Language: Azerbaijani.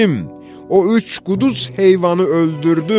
O üç quduz heyvanı öldürdüm.